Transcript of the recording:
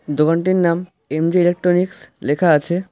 দোকানটির নাম M J electronics লেখা আছে।